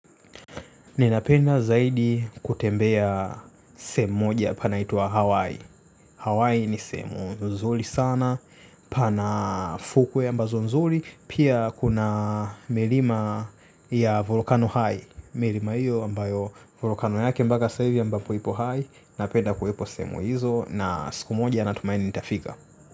Ninapenda zaidi kutembea sehemu moja panaitwa Hawaii. Hawaii ni sehemu nzuri sana. Pana fukuwe ambazo nzuri. Pia kuna melima ya volkano hai. Milima iyo ambayo volkano yake mbaga saa ivi ambapo ipo hai. Napenda kuwepo seemu hizo. Na siku moja natumaini nitafika.